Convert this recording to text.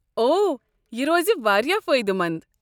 اوہ، یہ روزِ وارِیاہ فٲیدٕ مند ۔